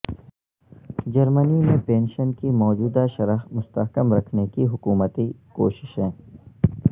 جرمنی میں پینشن کی موجودہ شرح مستحکم رکھنے کی حکومتی کوششیں